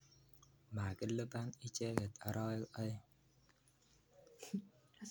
Makilipan icheket arawek aeng'.